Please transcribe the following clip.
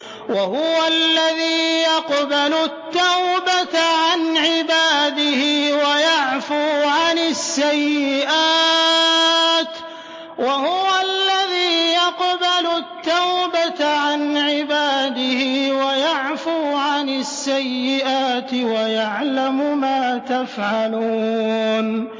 وَهُوَ الَّذِي يَقْبَلُ التَّوْبَةَ عَنْ عِبَادِهِ وَيَعْفُو عَنِ السَّيِّئَاتِ وَيَعْلَمُ مَا تَفْعَلُونَ